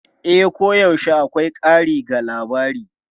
E, koyaushe akwai ƙari ga labari.